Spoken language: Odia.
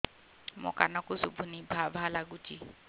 ମୋ କାନକୁ ଶୁଭୁନି ଭା ଭା ଲାଗୁଚି